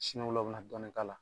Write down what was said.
Sini o la o bɛ na dɔɔni k'a la.